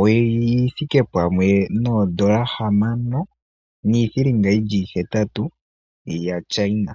oyithike poondola hamano niithilinga ihetatu yaChina.